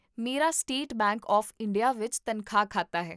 ਮੇਰਾ state bank of India ਵਿੱਚ ਤਨਖਾਹ ਖਾਤਾ ਹੈ